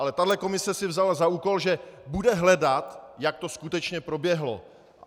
Ale tahle komise si vzala za úkol, že bude hledat, jak to skutečně proběhlo.